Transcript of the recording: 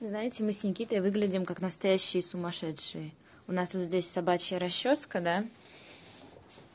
знаете мы с никитой выглядим как настоящее сумасшедшие у нас здесь собачья расчёска да